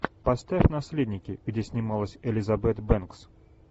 поставь наследники где снималась элизабет бэнкс